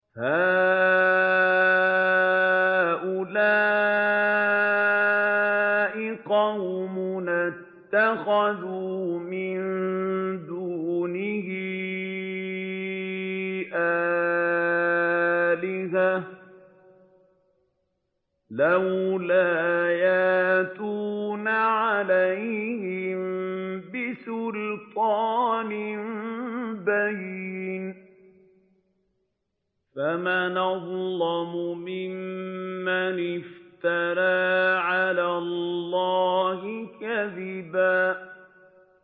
هَٰؤُلَاءِ قَوْمُنَا اتَّخَذُوا مِن دُونِهِ آلِهَةً ۖ لَّوْلَا يَأْتُونَ عَلَيْهِم بِسُلْطَانٍ بَيِّنٍ ۖ فَمَنْ أَظْلَمُ مِمَّنِ افْتَرَىٰ عَلَى اللَّهِ كَذِبًا